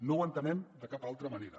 no ho entenem de cap altra manera